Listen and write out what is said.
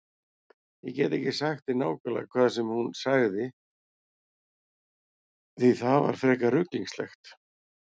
Ég get ekki sagt þér nákvæmlega það sem hún sagði því það var frekar ruglingslegt.